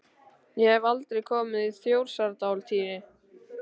Ég hef aldrei komið í Þjórsárdal, Týri.